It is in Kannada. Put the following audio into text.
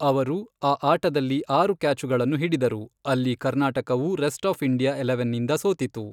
ಅವರು, ಆ ಆಟದಲ್ಲಿ ಆರು ಕ್ಯಾಚುಗಳನ್ನು ಹಿಡಿದರು, ಅಲ್ಲಿ ಕರ್ನಾಟಕವು ರೆಸ್ಟ್ ಆಫ್ ಇಂಡಿಯಾ ಎಲೆವನ್ನಿಂದ ಸೋತಿತು.